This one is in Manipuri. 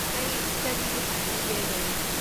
ꯑꯩ ꯁ꯭ꯇꯗꯤꯒꯤ ꯐꯥꯏꯅꯦꯜ ꯌꯤꯑꯔꯗꯅꯤ꯫